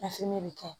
bɛ kɛ